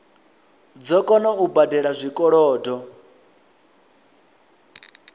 dzo kona u badela zwikolodo